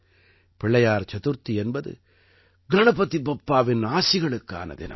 பிள்ளையார் சதுர்த்தி என்பது கணபதி பப்பாவின் ஆசிகளுக்கான தினம்